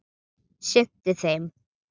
sinnti þeim.